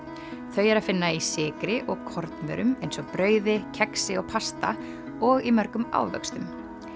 þau er að finna í sykri og kornvörum eins og brauði kexi og pasta og í mörgum ávöxtum